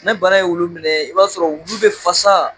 Ne bana ye wulu minɛ, i b'a sɔrɔ wulu bɛ fasa.